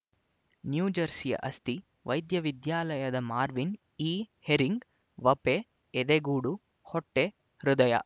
ನ್ಯೂಜರ್ಸಿಯ ಅಸ್ತಿ ವೈದ್ಯವಿದ್ಯಾಲಯದ Marvin E Herring ವಪೆ ಎದೆಗೂಡು ಹೊಟ್ಟೆ ಹೃದಯ